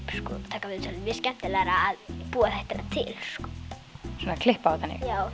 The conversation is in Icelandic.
taka viðtölin mér finnst skemmtilegra að búa þættina til svona klippa og þannig já